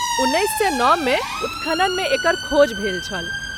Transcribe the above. उन्नैस सए नओमे उत्खननमे एकर खोज भेल छल।